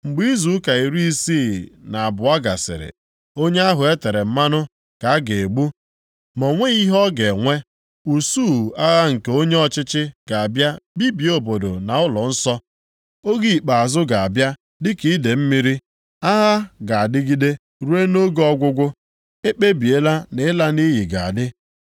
Mgbe izu ụka iri isii na abụọ gasịrị, Onye ahụ e tere mmanụ ka a ga-egbu, ma o nweghị ihe ọ ga-enwe. Usuu agha nke onye ọchịchị ga-abịa bibie obodo na ụlọnsọ. Oge ikpeazụ ga-abịa dịka idee mmiri; agha ga-adịgide ruo nʼoge ọgwụgwụ, e kpebiela na ịla nʼiyi ga-adị.